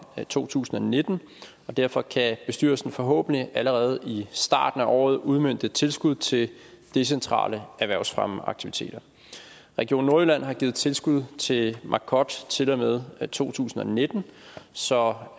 to tusind og nitten og derfor kan bestyrelsen forhåbentlig allerede i starten af året udmønte tilskud til decentrale erhvervsfremmeaktiviteter region nordjylland har givet tilskud til marcod til og med med to tusind og nitten så